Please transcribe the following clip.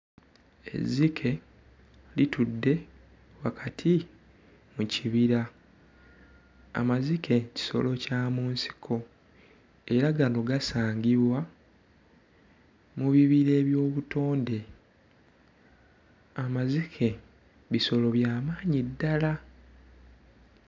Ezzike litudde wakati mu kibira, amazike kisolo kya mu nsiko era gano gasangibwa mu bibira eby'obutonde. Amazike bisolo by'amaanyi ddala.